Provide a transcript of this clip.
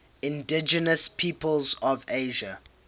indigenous peoples of asia